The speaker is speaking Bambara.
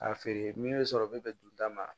A feere min bɛ sɔrɔ n bɛ bɛn dunta ma